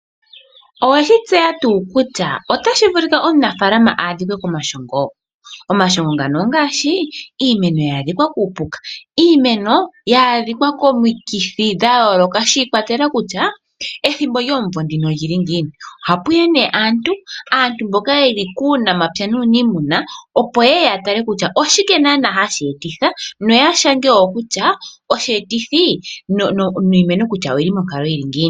Owe shi tseya tuu kutya otashi vulika omunafaalama a adhike komashongo? Omashongo ngano ongaashi, iimeno ya adhika kuupuka, iimeno ya adhika komikithi dha yooloka shi ikwatelela kutya ethimbo lyomumvo oli li ngiini. Ohapu ya nduno aantu, mboka ye li kuunamapya nuuniimuna, opo ye ye ya tale kutya oshike naanaa hashi etitha noya shange wo kutya osheetithi niimeno kutya oyi li monkalo yi li ngiini.